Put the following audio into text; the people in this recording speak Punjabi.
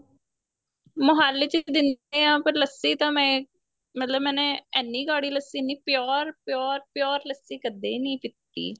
ਮੋਹਾਲੀ ਚ ਦਿਨੇ ਆ ਪਰ ਲੱਸੀ ਤਾਂ ਮੈਂ ਮਤਲਬ ਮੈਨੇ ਇੰਨੀ ਗਾੜੀ lassi pure pure pure lassi ਕਦੇ ਨੀਂ ਪੀਤੀ